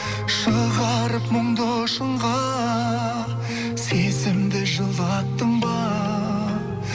шығарып мұңды шыңға сезімді жылаттың ба